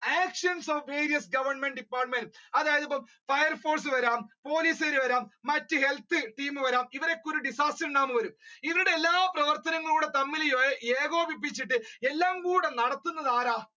actions of various government departments അതായത് ഇപ്പൊ fireforce വരാം പോലീസ് കാർ വരാം മറ്റ് health team വരാം ഇവരൊക്കെ ഇവരുടെ എല്ലാ പ്രവർത്തനവും തമ്മിൽ ഏകോപിപ്പിചിട്ട് എല്ലാം കൂടി നടത്തുന്നത് ആരാണ്